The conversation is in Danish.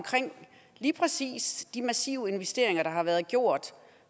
lige præcis de massive investeringer der har været gjort